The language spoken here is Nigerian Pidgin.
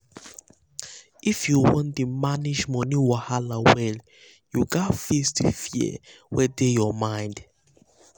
if you wan dey manage money wahala well you gats face di fear wey dey your mind. um